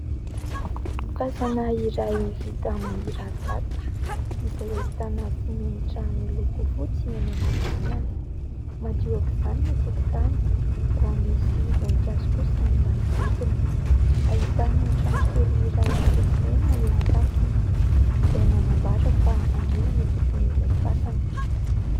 Fasana iray vita amin'ny rarivato izay ahitana simenitra miloko fotsy eny anelanelany, madio aoka izany ny tokotany ary misy voninkazo kosa ny manodidina ; ahitana trano kely iray miloko mena eo an-tampony izay manambara fa andriana no tompon'ilay fasana.